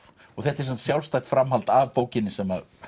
þetta er sjálfstætt framhald af bókinni sem